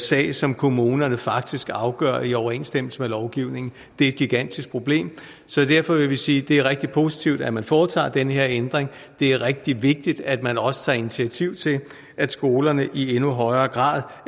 sag som kommunerne faktisk afgør i overensstemmelse med lovgivningen det er et gigantisk problem så derfor vil vi sige at det er rigtig positivt at man foretager den her ændring det er rigtig vigtigt at man også tager initiativ til at skolerne i endnu højere grad